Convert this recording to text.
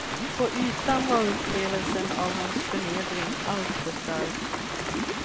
På ytan var upplevelsen av hans förnedring alltför stark.